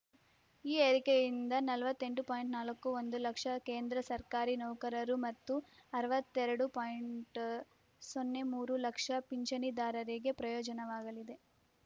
ಈ ಏರಿಕೆಯಿಂದ ನಲವತ್ತೆಂಟು ಪಾಯಿಂಟ್ ನಾಲ್ಕು ಒಂದು ಲಕ್ಷ ಕೇಂದ್ರ ಸರ್ಕಾರಿ ನೌಕರರು ಮತ್ತು ಅರವತ್ತೆರಡು ಪಾಯಿಂಟ್ ಸೊನ್ನೆ ಮೂರು ಲಕ್ಷ ಪಿಂಚಣಿದಾರರಿಗೆ ಪ್ರಯೋಜನವಾಗಲಿದೆ